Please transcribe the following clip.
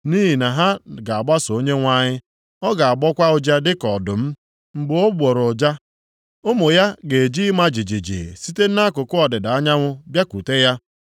Nʼihi na ha ga-agbaso Onyenwe anyị. Ọ ga-agbọkwa ụja dịka ọdụm. Mgbe ọ gbọrọ ụja, ụmụ ya ga-eji ịma jijiji site nʼakụkụ ọdịda anyanwụ bịakwute ya.